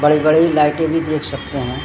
बड़े-बड़े लाइटे भी देख सकते हैं।